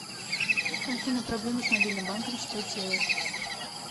афина проблемы с мобильным банком что делать